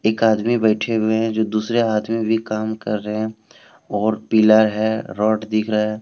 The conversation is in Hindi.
एक आदमी बैठे हुए हैं जो दूसरे आदमी भी काम कर रहे हैं और पिलर है रॉड दिख रहा है।